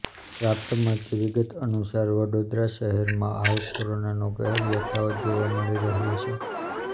પ્રાપ્ત મળતી વિગત અનુસાર વડોદરા શહેરમાં હાલ કોરોનાનો કહેર યથાવત જોવા મળી રહ્યો છે